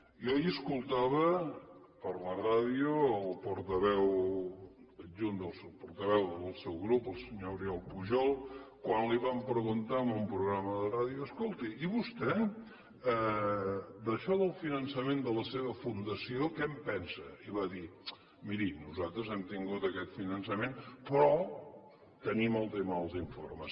jo ahir escoltava per la ràdio el portaveu adjunt el portaveu del seu grup el senyor oriol pujol quan li van preguntar en un programa de ràdio escolti i vostè d’això del finançament de la seva fundació què en pensa i va dir miri nosaltres hem tingut aquest finançament però tenim el tema dels informes